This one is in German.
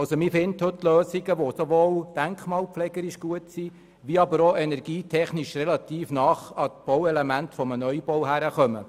Heute ist es möglich, Lösungen zu finden, die sowohl für die Denkmalpflege gut sind, aber auch energietechnisch relativ nahe an die Bauelemente eines Neubaus heranreichen.